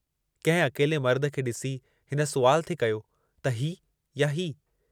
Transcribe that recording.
कंहिं अकेले मर्द खे ॾिसी हिन सुवालु थे कयो त हीउ या हीउ!